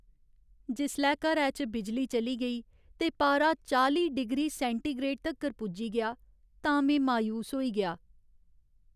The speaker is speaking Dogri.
जिसलै घरै च बिजली चली गेई ते पारा चाली डिग्री सैंटीग्रेड तक्कर पुज्जी गेआ तां में मायूस होई गेआ।